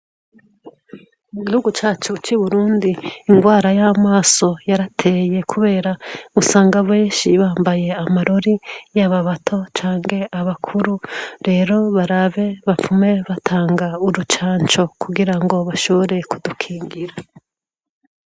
Mu igihugu cacu c'Iburundi ingwara y'amaso yarateye, kubera musanga benshi bambaye amarori y'ababato canke abakuru rero barabe bapfume batanga urucanco kugira ngo bashoboreye kudukingira.